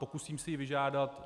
Pokusím se ji vyžádat.